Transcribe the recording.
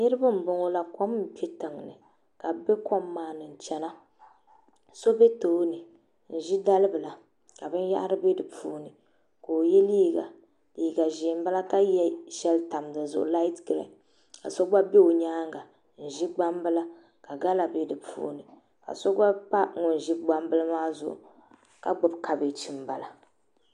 Niriba m boŋɔla kom n kpe tiŋni so be tooni ka oʒi dalibila ka binyahari be dipuuni ka o ye liiga liiga ʒee m bala ka ka ye sheli tam dizuɣu ka so gba bɛ o nyaanga n ʒi gbambila ka gala bɛ dipuuni ka so gba pa ŋun ʒi gbambili maa zuɣu ka gbibi kabaji m bala.